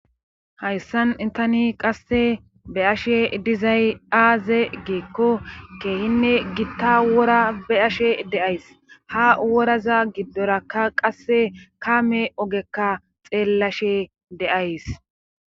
hayssan tani qasse be ashe dizay aaze geekko keehinne gitta wora be ashe deays ha woraza giddorakka qasse kaame ogekka xeellashe de'ays